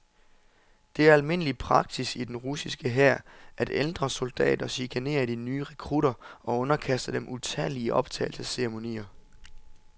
Det er almindelig praksis i den russiske hær, at ældre soldater chikanerer de nye rekrutter og underkaster dem utallige optagelsesceremonier.